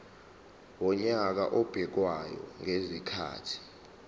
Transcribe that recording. wonyaka obekwayo ngezikhathi